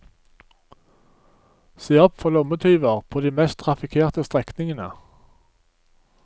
Se opp for lommetyver på de mest trafikerte strekningene.